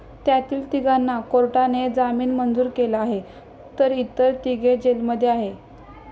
त्यातील तिघांना कोर्टाने जामीन मंजूर केला आहे तर इतर तिघे जेलमध्ये आहेत.